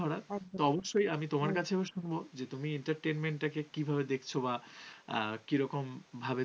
আহ কী রকম ভাবে